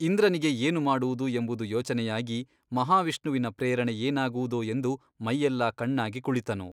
ಇಂದ್ರನಿಗೆ ಏನು ಮಾಡುವುದು ಎಂಬುದು ಯೋಚನೆಯಾಗಿ ಮಹಾವಿಷ್ಣುವಿನ ಪ್ರೇರಣೆ ಏನಾಗುವುದೋ ಎಂದು ಮೈಯೆಲ್ಲಾ ಕಣ್ಣಾಗಿ ಕುಳಿತನು.